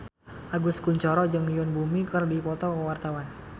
Agus Kuncoro jeung Yoon Bomi keur dipoto ku wartawan